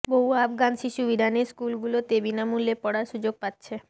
বহু আফগান শিশু ইরানের স্কুলগুলোতে বিনামূল্যে পড়ার সুযোগ পাচ্ছে